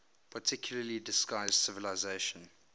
particularly distinguished civilization